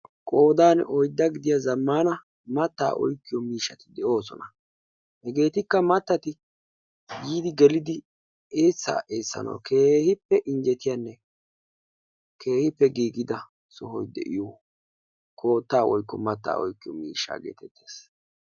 Qoodan oyddaa gidiya zammaana mattaa oykkiyo miishshati de'oosona. Hegeetikka mattati yiidi gelidi eessaa essanawu keehippe injjetiyanne keehippe giigida sohoy de'iyo koottaa woykko mattaa oykkiyo miishshaa geetettes.